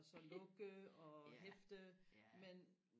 og så lukke og hæfte men